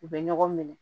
U bɛ ɲɔgɔn minɛ